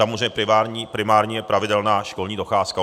Samozřejmě primární je pravidelná školní docházka.